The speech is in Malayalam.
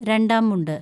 രണ്ടാം മുണ്ട്